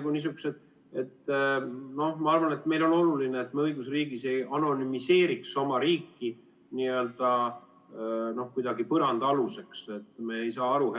Ma arvan, et on oluline, et me õigusriigis ei anonümiseeriks oma riiki kuidagi põrandaaluseks, et me ei saa aru,